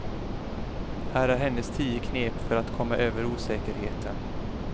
Här är hennes tio knep för att komma över osäkerheten.